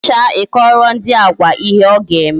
Emecha I kọwara ndị Agwa ihe a ga-eme